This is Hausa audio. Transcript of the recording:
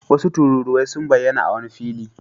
Wasu tururuwai sun bayyana a wani fili.